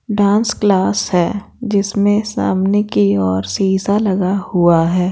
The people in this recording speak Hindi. डांस क्लास है जिसमें सामने की ओर सीसा लगा हुआ है।